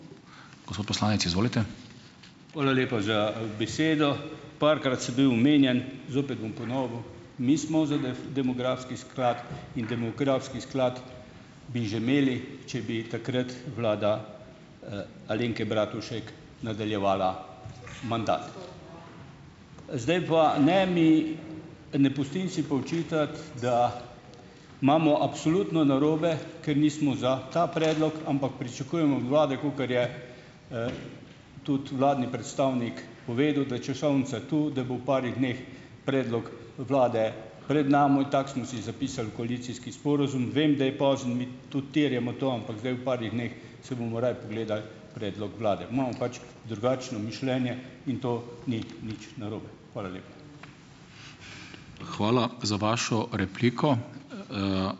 Hvala lepa za besedo. Parkrat sem bil omenjen, zopet bom ponovil. Mi smo za demografski sklad in demografski sklad bi že imeli, če bi takrat vlada, Alenke Bratušek nadaljevala. Zdaj pa, ne mi, ne pustim si pa očitati, da imamo absolutno narobe, ker nismo za ta predlog, ampak pričakujemo od vlade, kakor je, tudi vladni predstavnik povedal, da je časovnica to, da bo v parih dneh predlog vlade pred mano. Tako smo si zapisali v koalicijski sporazum. Vem, da je pozno, mi tudi terjamo to, ampak zdaj v parih dneh si bomo raje pogledali predlog vlade. Imamo pač drugačno mišljenje in to ni nič narobe. Hvala lepa.